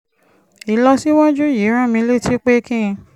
ìlọsíwájú yìí rán mi létí pé kí n